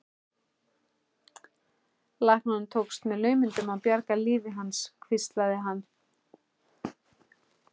Læknunum tókst með naumindum að bjarga lífi hans hvíslaði hann.